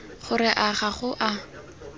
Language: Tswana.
gore a ga go a